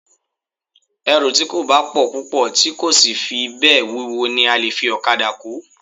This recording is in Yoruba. Ẹrù tí kò bá pọ̀ púpọ̀ tí kò sì fi bẹ́ẹ̀ wíwo ni a lè fi okada kó